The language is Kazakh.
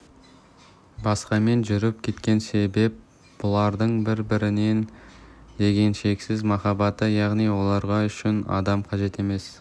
басқамен жүріп кеткен себеп бұлардың бір-біріне деген шексіз махаббаты яғни оларға үшінші адам қажет емес